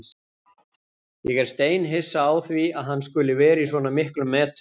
Ég er steinhissa á því að hann skuli vera í svona miklum metum.